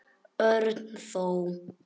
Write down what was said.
Örn þó.